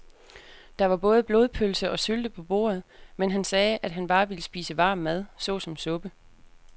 Der var både blodpølse og sylte på bordet, men han sagde, at han bare ville spise varm mad såsom suppe.